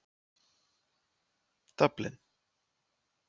Dublin